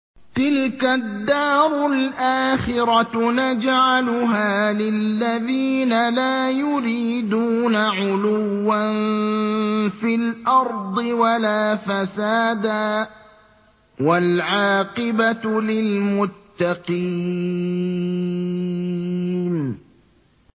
تِلْكَ الدَّارُ الْآخِرَةُ نَجْعَلُهَا لِلَّذِينَ لَا يُرِيدُونَ عُلُوًّا فِي الْأَرْضِ وَلَا فَسَادًا ۚ وَالْعَاقِبَةُ لِلْمُتَّقِينَ